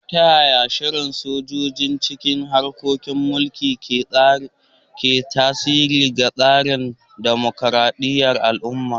Ta yaya shigar sojoji cikin harkokin mulki ke tasiri ga tsarin dimokuradiyyar al'umma?